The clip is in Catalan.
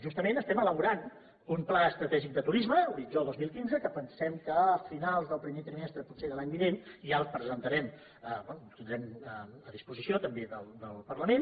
justament estem elaborant un pla estratègic de turisme horitzó dos mil quinze que pensem que a finals del primer trimestre potser de l’any vinent ja el presentarem bé que el tindrem a disposició també del parlament